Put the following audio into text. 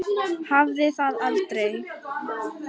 Hafði það aldrei.